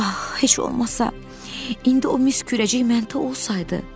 Ax, heç olmasa indi o mis kürəcək məndə olsaydı.